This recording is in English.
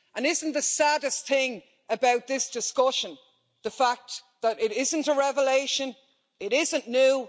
And isn't the saddest thing about this discussion the fact that it isn't a revelation, it isn't new?